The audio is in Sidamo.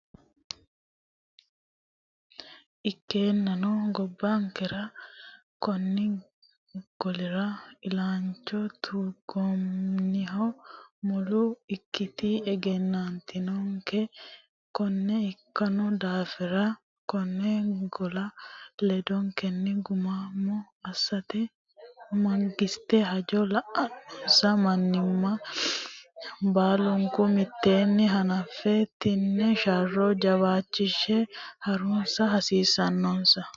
Ikkeennano, gobbankera konni golira illacha tungoonnihu mule ikkinoti egennantinote Konne ikkino daafira, konne gola ledotenni gumaamo assate mangiste, hajo la’annonsa manninna baalunku mitteenni hanafan- tino sharro jawaachishe ha’rusa hasiissannonsa.